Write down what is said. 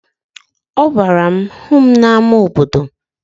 Ọ gwara m, hụ m n'ama obodo!